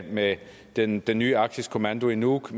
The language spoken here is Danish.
med den den nye arktisk kommando i nuuk